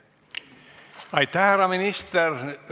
Aitäh, härra minister!